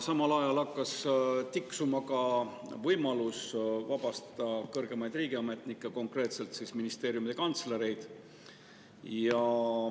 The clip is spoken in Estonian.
Samal ajal hakkas tiksuma ka võimalus vabastada kõrgemaid riigiametnikke, konkreetselt ministeeriumide kantslereid.